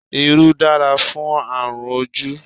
Irú dára fún àrùn ojú